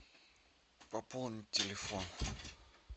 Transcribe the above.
пополнить телефон